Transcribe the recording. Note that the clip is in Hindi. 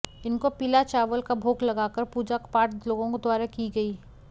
इनको पीला चावल का भोग लगाकर पूजा पाठ लोगों द्वारा की गई